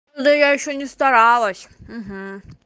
да я ещё не старалась